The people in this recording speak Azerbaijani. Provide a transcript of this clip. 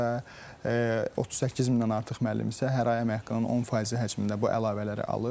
Və 38 mindən artıq müəllim isə hər ay əmək haqqının 10 faizi həcmində bu əlavələri alır.